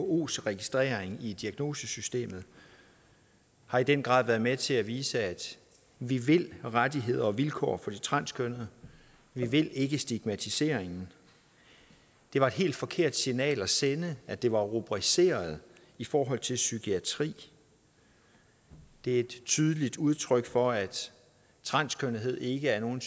whos registrering i diagnosesystemet har i den grad været med til at vise at vi vil rettigheder og vilkår for de transkønnede vi vil ikke stigmatiseringen det var et helt forkert signal at sende at det var rubriceret i forhold til psykiatri det er et tydeligt udtryk for at transkønnethed ikke er nogen